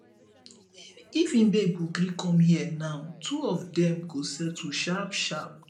if im babe go gree come here now two of dem go settle sharp sharp